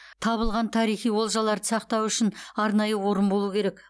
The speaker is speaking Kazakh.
табылған тарихи олжаларды сақтау үшін арнайы орын болу керек